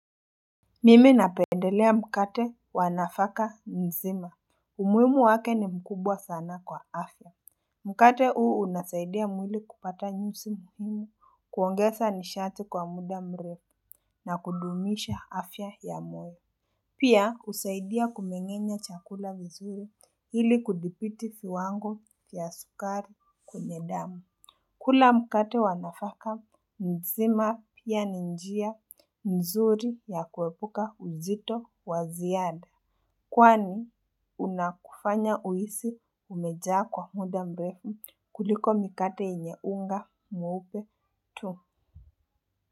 Mimi napendelea mkate wa nafaka nzima. Umuhimu wake ni mkubwa sana kwa afya. Mkate huu unasaidia mwili kupata nyusi muhimu kuongeza nishati kwa muda mrefu na kudumisha afya ya moyo. Pia husaidia kumengenya chakula vizuri ili kudhibiti viwango ya sukari kwenye damu. Kula mkate wa nafaka mzima pia ni njia nzuri ya kuepuka uzito wa ziada kwani unakufanya uisi umejaa kwa muda mrefu kuliko mikate yenye unga mweupe tu.